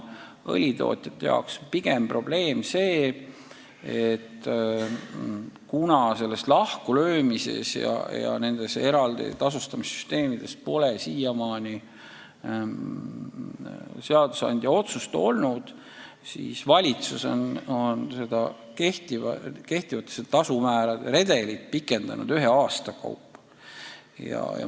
Õlitootjate jaoks on probleem pigem see, et kuna selle lahkulöömise ja eraldi tasustamise süsteemide kohta pole siiamaani seadusandja otsust olnud, siis valitsus on kehtivate tasumäärade redelit pikendanud ühe aasta kaupa.